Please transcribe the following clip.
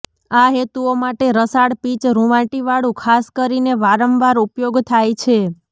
આ હેતુઓ માટે રસાળ પીચ રુવાંટીવાળું ખાસ કરીને વારંવાર ઉપયોગ થાય છે